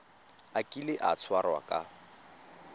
a kile a tshwarwa ka